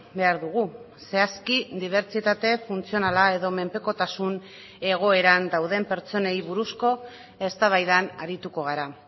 behar dugu zehazki dibertsitate funtzionala edo menpekotasun egoeran dauden pertsonei buruzko eztabaidan arituko gara